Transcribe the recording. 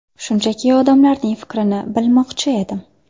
Shunchaki odamlarning fikrini bilmoqchi edim.